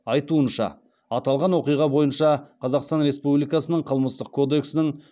айтуынша аталған оқиға бойынша қазақстан республикасының қылмыстық кодексінің